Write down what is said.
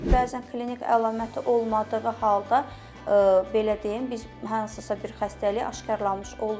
Bəzən klinik əlaməti olmadığı halda belə deyim, biz hansısa bir xəstəliyi aşkarlamış oluruq.